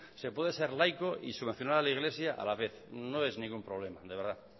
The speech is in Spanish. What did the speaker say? se puede ser laico y subvencionar a la iglesia a la vez no es ningún problema de verdad